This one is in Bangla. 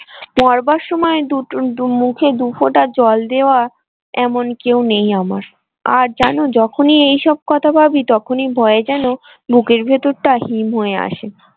মরবার সময় দুটো দু মুখে দু ফোঁটা জল দেওয়া এমন কেউ নেই আমার আর জানো যখনই এসব কথা ভাবি তখনই ভয় যেন বুকের ভেতরটা হিম হয়ে আসে।